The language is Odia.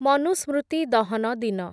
ମନୁସ୍ମୃତି ଦହନ ଦିନ